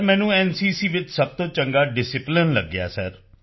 ਮੈਨੂੰ ਐਨਸੀਸੀ ਵਿੱਚ ਸਭ ਤੋਂ ਚੰਗਾ ਡਿਸਿਪਲਾਈਨ ਲਗਿਆ ਹੈ ਸਰ